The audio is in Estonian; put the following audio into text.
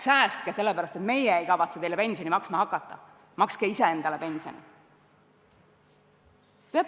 Säästke, sellepärast et meie ei kavatse teile pensioni maksma hakata, makske ise endale pensioni!